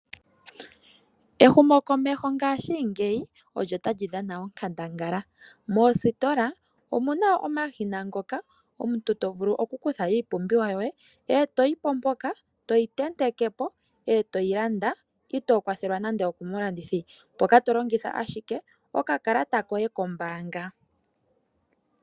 Ehumokomeho ngaashingeyi olyo talyi dhana onkandangala. Moositola omuna woo omashina ngoka omuntu to vulu okukutha iipumbiwa yoye, etoyi po mpoka toyi tenteke po etoyi landa itoo kwathelwa nande okomulandithi, mpoka to longitha ashike okakalata koye kombaanga.